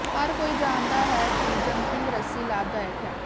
ਹਰ ਕੋਈ ਜਾਣਦਾ ਹੈ ਕਿ ਜੰਪਿੰਗ ਰੱਸੀ ਲਾਭਦਾਇਕ ਹੈ